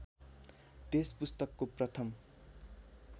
त्यस पुस्तकको प्रथम